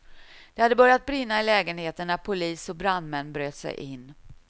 Det hade börjat brinna i lägenheten när polis och brandmän bröt sig in.